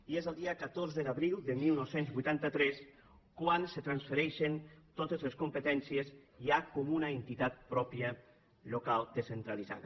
i és el dia catorze d’abril de dinou vuitanta tres quan se’n transfereixen totes les competències ja com una entitat pròpia local descentralitzada